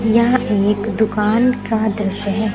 यह एक दुकान का दृश्य है।